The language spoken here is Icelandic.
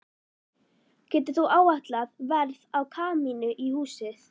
Getur þú áætlað verð á kamínu í húsið?